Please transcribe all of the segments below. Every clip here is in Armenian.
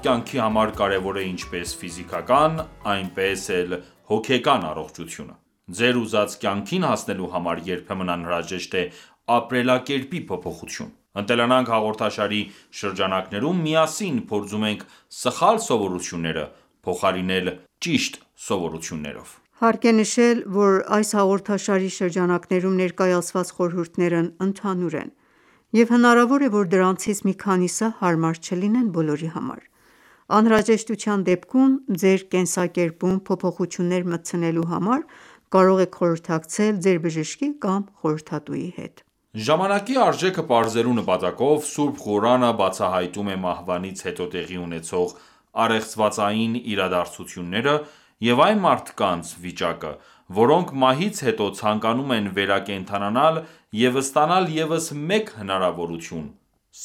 կյանքի համար կարևոր է ինչպես ֆիզիկական, այնպես էլ հոգեկան առողջությունը: Ձեր ուզած կյանքին հասնելու համար երբեմն անհրաժեշտ է ապրելակերպի փոփոխություն: «Ընտելանանք» հաղորդաշարի շրջանակներում միասին փորձում ենք սխալ սովորությունները փոխարինել ճիշտ սովորություններով։ Հարկ է նշել, որ այս հաղորդաշարի շրջանակներում ներկայացված խորհուրդներն ընդհանուր են, և հնարավոր է, որ դրանցից մի քանիսը հարմար չլինեն բոլորի համար: Անհրաժեշտության դեպքում ձեր կենսակերպում փոփոխություններ մտցնելու համար կարող եք խորհրդակցել ձեր բժշկի կամ խորհրդատուի հետ: Ժամանակի արժեքը պարզելու նպատակով, Սուրբ Ղուրանը բացահայտում է մահվանից հետո տեղի ունեցող առեղծվածային իրադարձությունները և այն մարդկանց վիճակը, որոնք մահից հետո ցանկանում են վերակենդանանալ և ստանալ ևս մեկ հնարավորություն,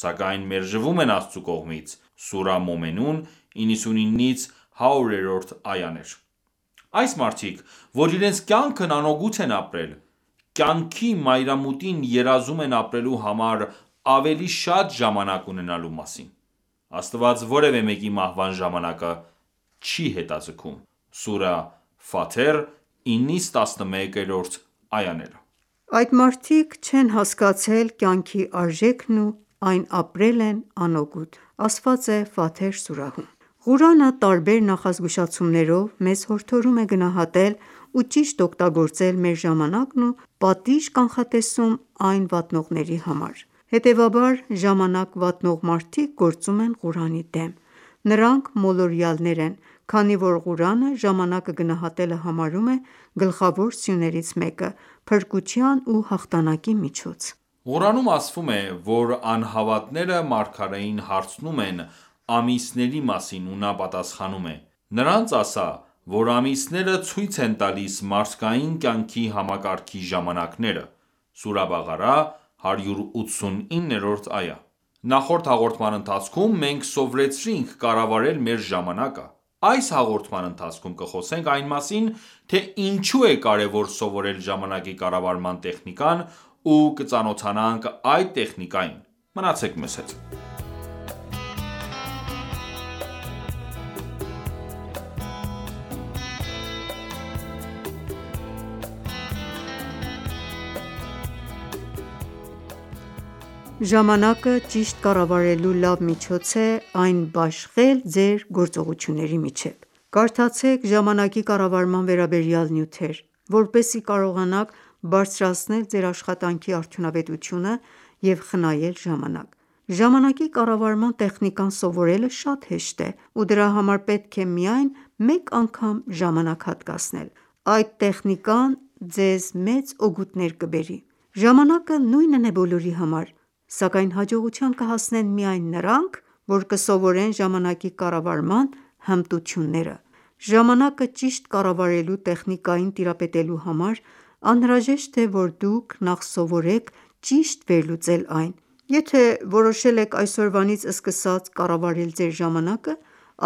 սակայն մերժվում են Աստծու կողմից (Սուրահ Մոմենուն, 99-100 –րդ այաներ): Այս մարդիկ, որ իրենց կյանքն անօգուտ են ապրել, կյանքի մայրամուտին երազում են ապրելու համար ավելի շատ ժամանակ ունենալու մասին: Աստված որևէ մեկի մահվան ժամանակը չի հետաձգում: (Սուրահ Ֆաթեր, 9-11-րդ այաներ): Այդ մարդիկ չեն հասկացել կյանքի արժեքն ու այն ապրել են անօգուտ (Սուրահ Ֆաթեր, 36-37-րդ այաներ): Ղուրանը տարբեր նախազգուշացումներով մեզ հորդորում է գնահատել ու ճիշտ օգտագործել մեր ժամանակն ու պատիժ կանխատեսում այն վատնողների համար: Հետևաբար, ժամանակ վատնող մարդիկ գործում են Ղուրանի դեմ: Նրանք մոլորյալներ են, քանի որ Ղուրանը ժամանակը գնահատելը համարում է գլխավոր սյուներից մեկը, փրկության ու հաղթանակի միջոց: Ղուրանում ասվում է, որ անհավատները մարգարեին հարցնում են ամիսների մասին, ու նա պատասխանում է. «Նրանց ասա, որ ամիսները ցույց են տալիս մարդկային կյանքի համակարգի ժամանակները»: (Սուրահ Բաղարա այա 189): Նախորդ հաղորդման ընթացքում մենք սովորեցինք կառավարել մեր ժամանակը: Այս հաղորդման ընթացքւոմ կխոսենք այն մասին, թե ինչո՞ւ է կարևոր սովորել ժամանակի կառավարման տեխնիկան ու կծանոթանանաք այդ տեխնիկային:Մնացեք մեզ հետ: Ժամանակը ճիշտ կառավարելու լավ միջոց է՝ այն բաշխել ձեր գործողությունների միջև: Կարդացեք ժամանակի կառավարման վերաբերյալ նյութեր, որպեսզի կարողանաք բարձրացնել ձեր աշխատանքի արդյունավետությունը և խնայել ժամանակ: Ժամանակի կառավարման տեխնիկան սովորելը շատ հեշտ է ու դրա համար պետք է միայն մեկ անգամ ժամանակ հատկացնել: Այդ տեխնիկան ձեզ մեծ օգուտներ կբերի: Ժամանակը նույնն է բոլորի համար: Սակայն հաջողության կհասնեն միայն նրանք, որ կսովորեն ժամանակի կառավարման հմտությունները: Ժամանակը ճիշտ կառավարելու տեխնիկային տիրապետելու համար անհրաժեշտ է որ դուք նախ սովորեք ճիշտ վերլուծել այն: Եթե որոշել եք այսօրվանից սկսած կառավարել ձեր ժամանակը,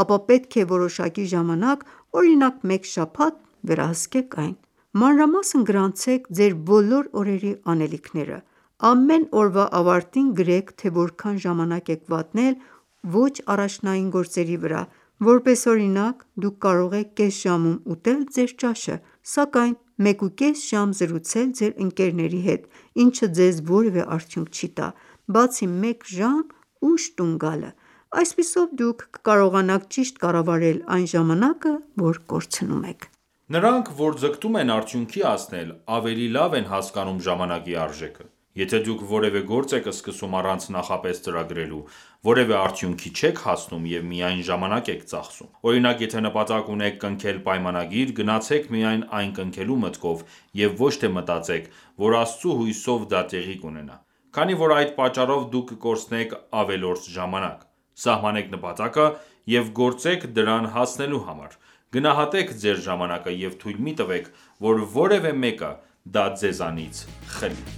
ապա պետք է որոշակի ժամանակ օրինակ մեկ շաբաթ, վերահսկեք այն: Մանրամասն գրանցեք ձեր բոլոր օրերի անելիքները: Ամեն օրվա ավարտին գրեք թե որքան ժամանակ եք վատնել ոչ առաջնային գործերի վրա: Որպես օրինակ, դուք կարող եք կես ժամում ուտել ձեր ճաշը, սակայն 1.5 ժամ զրուցել ձեր ընկերների հետ, ինչը ձեզ որևէ արդյունք չի տա, բացի մեկ ժամ ուշ տուն գալը: Այսպիսով դուք կկարողաանք ճիշտ կառավարել այն ժամանակը, որ կորցնում եք: Նրանք, որ ձգտում են արդյունքի հասնել, ավելի լավ են հասկանում ժամանակի արժեքը: Եթե դուք որևէ գործ եք սկսում առանց նախապես ծրագրելու, որևէ արդյունքի չեք հասնում և միայն ժամանակ եք ծախսում: Օրինակ եթե նպատակ ունեք կնքել պայմանագիր, գնացեք միայն այն կնքելու մտքով և ոչ թե մտածեք, որ Աստծու հույսով դա տեղի կունենա: Քանի որ այդ պատճառով դուք կկորցնեք ավելորդ ժամանակ: Սահմանեք նպատակը և գործեք դրան հասնելու համար: Գնահատեք ձեր ժամանակը և թույլ մի տվեք, որ որևէ մեկը դա ձեզանից խլի: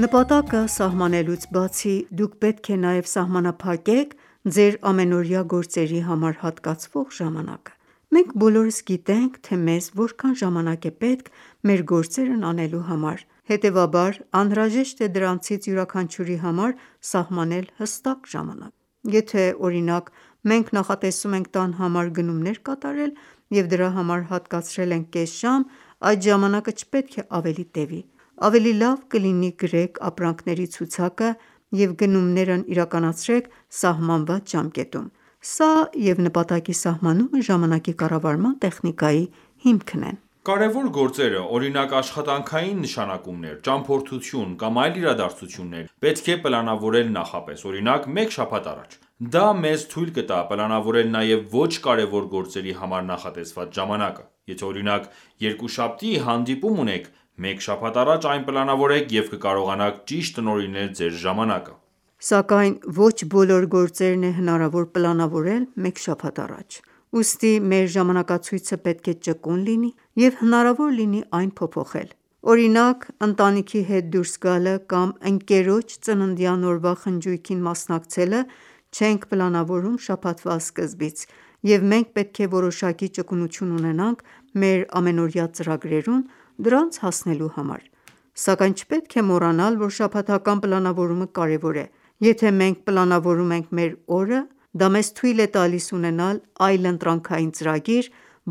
Նպատակը սահմանելուց բացի, դուք պետք է նաև սահմանափակեք ձեր ամենօրա գործերի համար հատկացվող ժամանակը: Մենք բոլորս գիտենք թե մեզ որքան ժաանակ է պետք մեր գործերն անելու համար: Հետևաբար անհրաժեշտ է դրանցից յուրաքանչյուրի համար սահմանել հստակ ժամանակ: Եթե օրինակ մենք նախատեսում ենք տան համար գնումներ կատարել, և դրա համար հատկացրել ենք կես ժամ, այդ ժամանակը չպետք է ավելի տևի: Ավելի լավ կլինի գրեք ապրանքների ցուցակը և գնումներն իրականացրեք սահմանված ժամկետում: Սա և նպատակի սահմանումը ժամանակի կառավարման տեխնիկայի հիմքն են: Կարևոր գործերը, օրինակ՝ աշխատանքային նշանակումներ, ճամփորդություն կամ այլ իրադարձություններ, պետք է պլանավորել նախապես, օրինակ՝ մեկ շաբաթ առաջ: Դա մեզ թույլ կտա պլանավորել նաև ոչ կարևոր գործերի համար նախատեսված ժամանակը: Եթե օրինակ երկուշաբթի հանդիպում ունեք, մեկ շաբաթ առաջ այն պլանավորեք և կկարողանաք ճիշտ տնօրինել ձեր ժամանակը: Սակայն ոչ բոլոր գործերն է հնարավոր պլանավորել մեկ շաբաթ առաջ: Ուստի մեր ժամանակացույցը պետք է ճկուն լինի և հնարավոր լինի այն փոփոխել: Օրինակ՝ ընտանիքի հետ դուրս գալը կամ ընկերոջ ծննդյան օրվա խնջույքին մասնակցելը չենք պլանավորում շաբաթվա սկզբից, և մենք պետք է որոշակի ճկունություն ունենանք մեր ամենօրյա ծրագրերում՝ դրանց հասնելու համար: Սակայն չպետք է մոռանալ, որ շաբաթական պլանավորումը կարևոր է: Եթե մենք պլանավորում ենք մեր օրը, դա մեզ թույլ է տալիս ունենալ այլընտրանքային ծրագիր,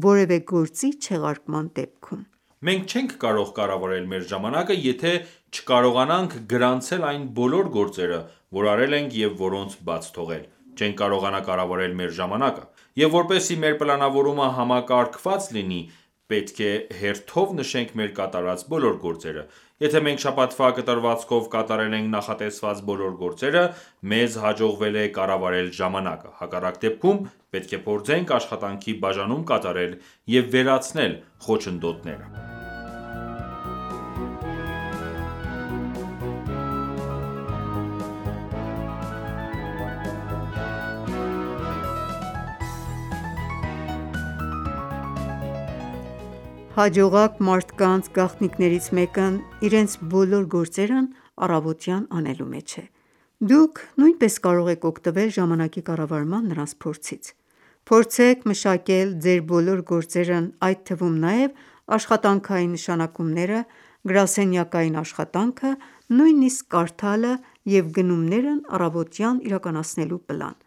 որևէ գործի չեղարկման դեպքում: Մենք չենք կարող կառավարել մեր ժամանակը եթե չկարողանանք գրանցել այն բոլոր գործերը որ արել ենք և որոնք բաց թողել, չենք կարողանա կառավարել մեր ժամանակը: Եվ որպեսզի մեր պլանավորումը համակարգված լինի, պետք է հերթով նշենք մեր կատարած բոլոր գործերը: Եթե մենք շաբաթվա կտրվածքով կատարել ենք նախատեսված բոլոր գործերը, մեզ հաջողվել է կառավարել ժամանակը: Հակառակ դեպքում, պետք է փորձենք աշխատանքի բաժանում կատարել և վերացնել խոչընդոտները: Հաջողակ մարդկանց գաղտնիքներից մեկն իրենց բոլոր գործերն առավոտյան անելու մեջ է: Դուք նույնպես կարող եք օգտվել ժամանակի կառավարման նրանց փորձից: Փորձեք մշակել ձեր բոլոր գործերն այդ թվում նաև աշխատանքային նշանակումները, գրասենյակային աշխատանքը, նույնիսկ կարդալը և գնումներն առավոտյան իրականացնելու պլան: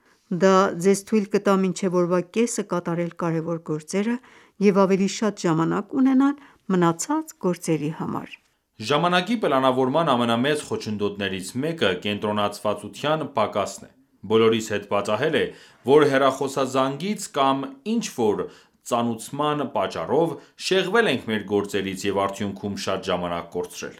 Դա ձեզ թույլ կտա մինչև օրվա կեսը կատարել կարևոր գործերը և ավելի շատ ժամանակ ունենալ մնացած գործերի համար: Ժամանակի պլանավորման ամենամեծ խոչընդոտներից մեկը կենտրոնացվածության պակասն է: Բոլորիս հետ պատահել է, որ հեռախոսազանգից, կամ ինչ որ ծանուցման պատճառով, շեղվել ենք մեր գործից և արդյունքում շատ ժամանակ կորցրել: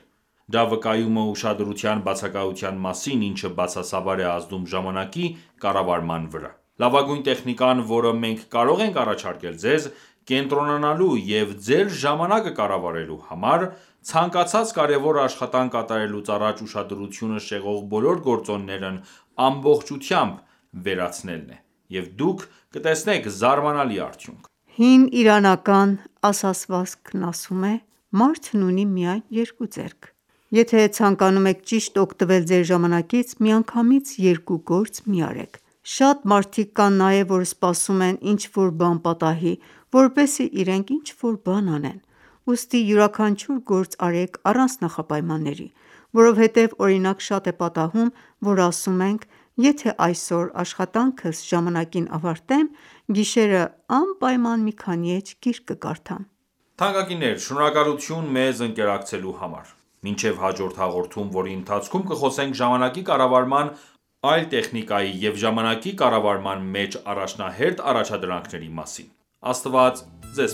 Դա վկայում է ուշադրության բացակայության մասին, ինչը բացասաբար է ազդում ժամանակի կառավարման վրա: Լավագույն տեխնիկան, որը մենք կարող ենք առաջարկել ձեզ՝ կենտրոնանալու և ձեր ժամանակը կառավարելու համար, ցանկացած կարևոր աշխատանք կատարելուց առաջ ուշադրությունը շեղող բոլոր գործոններն ամբողջությամբ վերացնելն է: Եվ դուք կտեսնեք զարմանալի արդյունք: Հին իրանական ասացվածքն ասում է. «Մարդն ունի միայն երկու ձեռք»: Եթե ցանկանում եք ճիշտ օգտվել ձեր ժամանակից, միանգամից երկու գործ մի արեք: Շատ մարդիկ կան նաև, որ սպասում են ինչ որ բան պատահի, որպեսզի իրենք ինչ որ բան անեն: Ուստի յուրաքանչյուր գործ արեք առանց նախապայմանների: Որովհետև օրինակ շատ է պատահում, որ ասում ենք, եթե այսօր աշխատանքս ժամանակին ավարտեմ, գիշերը անպայման մի քանի էջ գիրք կկարդամ։ Շնորհակալություն մեզ ընկերակցելու համար, մինչև հաջորդ հաղորդում, որի ընթացքում կխոսենք ժամանակի կառավարման այլ տեխնիկայի և ժամանակի կառավարման մեջ առաջնահերթ առաջադրանքների մասին: Աստված ձեզ